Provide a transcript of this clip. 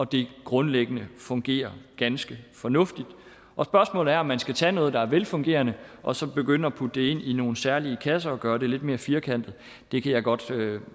det grundlæggende fungerer ganske fornuftigt og spørgsmålet er om man skal tage noget der er velfungerende og så begynde at putte det ind i nogle særlige kasser og gøre det lidt mere firkantet det kan jeg godt